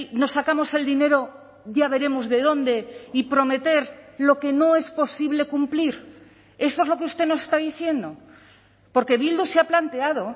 nos sacamos el dinero ya veremos de dónde y prometer lo que no es posible cumplir eso es lo que usted nos está diciendo porque bildu se ha planteado